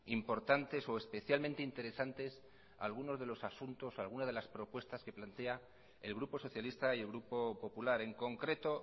importantes o especialmente interesantes algunas de las propuestas que plantea el grupo socialista y el grupo popular en concreto